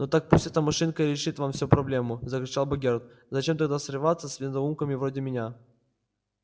ну так пусть эта машинка и решит вам всю проблему закричал богерт зачем тогда связываться с недоумками вроде меня